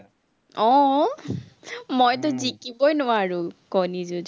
আহ মইতো জিকিবই নোৱাৰো, কণী যুজ।